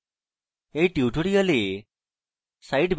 সংক্ষিপ্তকরণ করি